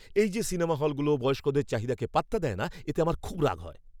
এই যে সিনেমা হলগুলো বয়স্কদের চাহিদাকে পাত্তা দেয় না এতে আমার খুব রাগ হয়।